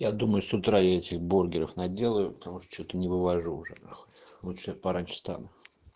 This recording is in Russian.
я думаю с утра я этих бургеров наделаю потому что что-то не вывожу уже нахуй лучше я пораньше встану